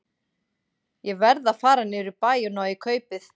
Ég verð að fara niður í bæ og ná í kaupið.